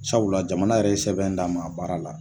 Sabula jamana yɛrɛ ye sɛbɛn d'an ma a baara la